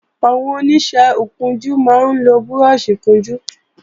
Àwọn Oníṣẹ́ ìkunjú máa ń lo búrọ́ọ̀ṣì ìkunjú